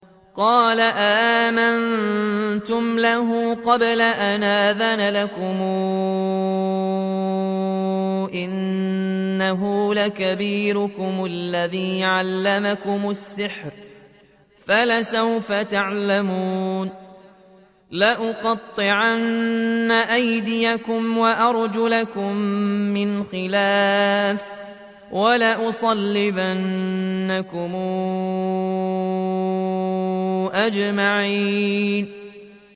قَالَ آمَنتُمْ لَهُ قَبْلَ أَنْ آذَنَ لَكُمْ ۖ إِنَّهُ لَكَبِيرُكُمُ الَّذِي عَلَّمَكُمُ السِّحْرَ فَلَسَوْفَ تَعْلَمُونَ ۚ لَأُقَطِّعَنَّ أَيْدِيَكُمْ وَأَرْجُلَكُم مِّنْ خِلَافٍ وَلَأُصَلِّبَنَّكُمْ أَجْمَعِينَ